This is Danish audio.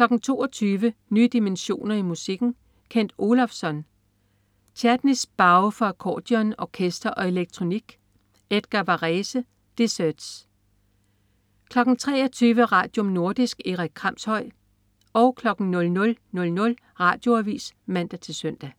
22.00 Nye dimensioner i musikken. Kent Olofsson: Chladni's Bow for accordeon, orkester og elektronik. Edgar Varèse: Déserts 23.00 Radium. Nordisk. Erik Kramshøj 00.00 Radioavis (man-søn)